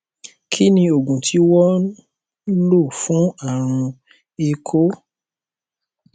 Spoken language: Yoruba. kí ni oògùn tí wọn ń lò fún àrùn éeko